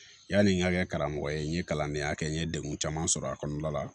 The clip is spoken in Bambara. Yani n ka kɛ karamɔgɔ ye n ye kalandenya kɛ n ye degun caman sɔrɔ a kɔnɔna la